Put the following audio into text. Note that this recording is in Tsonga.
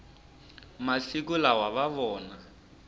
masiku lawa va vona